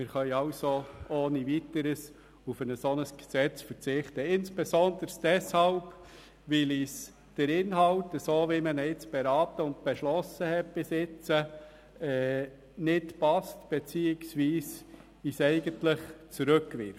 Wir können also ohne Weiteres und insbesondere deshalb auf ein solches Gesetz verzichten, weil uns der Inhalt, wie wir ihn bisher beraten und beschlossen haben, nicht passt beziehungsweise uns eigentlich zurückwirft.